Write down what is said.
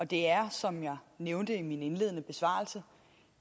det er som jeg nævnte i min indledende besvarelse